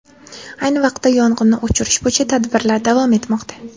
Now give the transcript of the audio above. Ayni vaqtda yong‘inni o‘chirish bo‘yicha tadbirlar davom etmoqda.